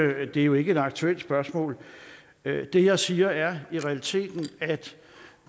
er jo ikke et aktuelt spørgsmål det jeg siger er i realiteten at